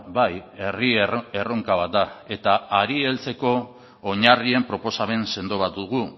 bai herri erronka bat da eta hari heltzeko oinarrien proposamen sendo bat dugu